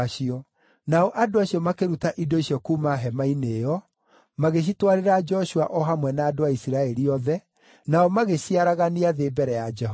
Nao andũ acio makĩruta indo icio kuuma hema-inĩ ĩyo, magĩcitwarĩra Joshua o hamwe na andũ a Isiraeli othe, nao magĩciaragania thĩ mbere ya Jehova.